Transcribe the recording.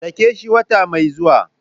sake shi wata mai zuwa.